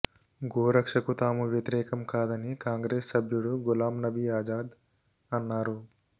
గోరక్షకు తాము వ్యతిరేకం కాదని కాంగ్రెస్ సభ్యుడు గులాంనబీ ఆజాద్ అన్నారు